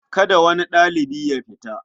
Kada wani ɗalibi ya fita.